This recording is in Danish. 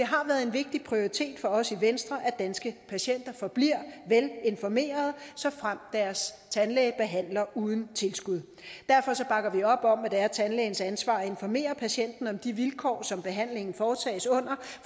har været en vigtig prioritet for os i venstre at danske patienter forbliver velinformerede såfremt deres tandlæge behandler uden tilskud derfor bakker vi op om at det er tandlægens ansvar at informere patienten om de vilkår som behandlingen foretages under